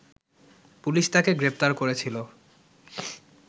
police তাকে গ্রেপ্তার করেছিল